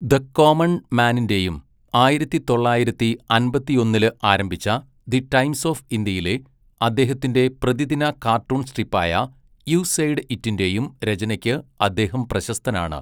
The common മാനിന്റെയും ആയിരത്തി തൊള്ളായിരത്തി അമ്പത്തിയൊന്നില് ആരംഭിച്ച ദി ടൈംസ് ഓഫ് ഇന്ത്യയിലെ അദ്ദേഹത്തിന്റെ പ്രതിദിന കാർട്ടൂൺ സ്ട്രിപ്പായ യു സെയ്ഡ് ഇറ്റിന്റെയും രചനയ്ക്ക് അദ്ദേഹം പ്രശസ്തനാണ്.